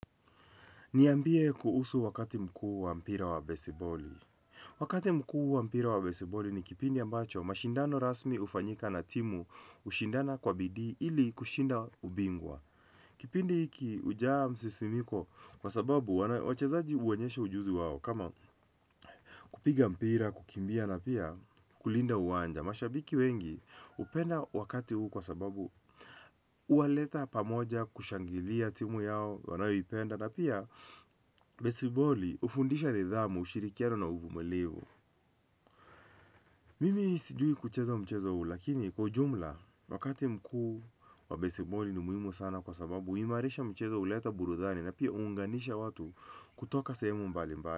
Niambie kuhusu wakati mkuu wa mpira wa besiboli. Wakati mkuu wa mpira wa besiboli ni kipindi ambacho mashindano rasmi hufanyika na timu hushindana kwa bidii ili kushinda ubingwa. Kipindi hiki hujaa msisimko kwa sababu wachezaji huonyesha ujuzi wao kama kupiga mpira, kukimbia, na pia kulinda uwanja. Na mashabiki wengi hupenda wakati huu kwa sababu huwaleta pamoja kushangilia timu yao wanayoipenda na pia besiboli hufundisha nidhamu ushirikiano na uvumilivi. Mimi sijui kucheza mchezo huu lakini kwa ujumla wakati mkuu wa besiboli ni muhimu sana kwa sababu huimarisha mchezo, huleta burudani na pia huunganisha watu kutoka sehemu mbalimbali.